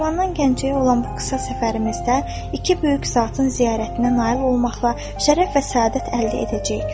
Şirvandan Gəncəyə olan bu qısa səfərimizdə iki böyük zatın ziyarətinə nail olmaqla şərəf və səadət əldə edəcəyik.